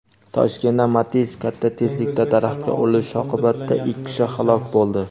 Toshkentda "Matiz" katta tezlikda daraxtga urilishi oqibatida ikki kishi halok bo‘ldi.